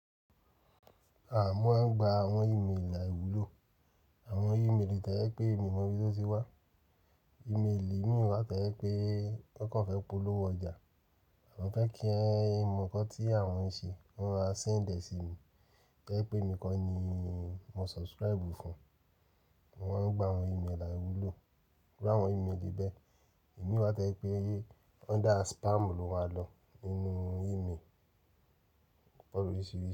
A mo ń gba àwọn ímeèlì àìwúlò, àwọn ìméèlì tẹẹpe mi mo bí o ti wà. Ìméèlì mi wà tẹẹpe wọn kò fẹ polówó ọjà, wọn fẹ kí ẹ mọ ǹkan tí àwọn ń ṣe, wọn a sẹndẹ sí mi tẹẹpe mi kọ́ ni mo subscribe fún. Wọ́n ń gba àwọn ímeèlì àìwúlò, irú àwọn ìméèlì bẹ, èmi wa tẹẹpe under spam lo wa lọ nínú ìméèlì òpọ́ lorisiri.